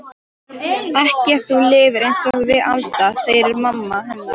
Ekki ef þú lifir einsog við Alda, segir mamma hennar.